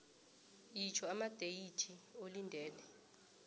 itjho amadeyithi olindele